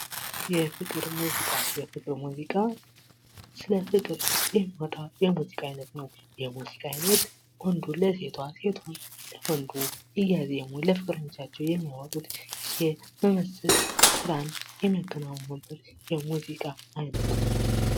የፍቅር ሙዚቃ የፍቅር ሙዚቃ ፦ስለ ፍቅር የሚወጣ የሙዚቃ አይነት ነው። ይህ የሙዚቃ አይነት ወንዱ ለሴቷ፤ ሴቷ ለወንዱ እያዜሙ ለፍቅር ለህይወታቸው የሚመስጥ ስራን የሚያከናውኑበት የሙዚቃ አይነት ነው።